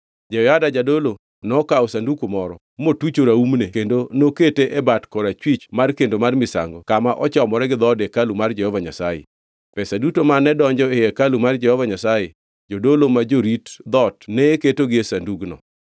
Jehoyada jadolo nokawo sanduku moro, motucho raumne kendo nokete e bat korachwich mar kendo mar misango kama ochomore gi dhood hekalu mar Jehova Nyasaye. Pesa duto mane donjo e hekalu mar Jehova Nyasaye, jodolo ma jorit dhoot ne ketogi e sandukuno.